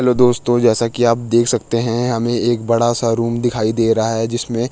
hello दोस्तों जैसा की आप देख सकते हैं हमें एक बड़ा सा रूम दिखाई दे रहा है जिसमें --